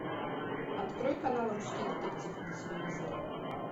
открой канал русский детектив на телевизоре